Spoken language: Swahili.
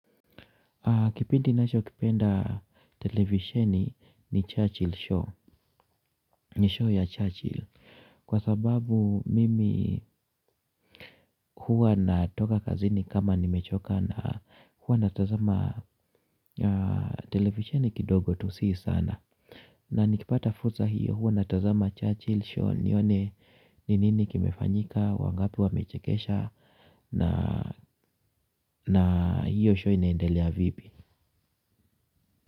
Kipindi nasho kipenda televisheni ni Churchill show, nishow ya Churchill. Kwa sababu mimi huwa natoka kazini kama nimechoka na huwa natazama televisheni kidogo tu si sana. Na nikipata fuza hiyo huwa natazama Churchill show nione ni nini kimefanyika, wangapi wamechekesha na na hiyo show inaendelea vipi.